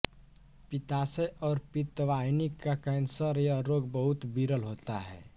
पित्ताशय और पित्तवाहिनी का कैंसर यह रोग बहुत विरल होता है